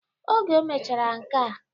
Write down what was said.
Oge o mechara nkea